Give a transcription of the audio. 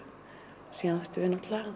síðan áttum við náttúrulega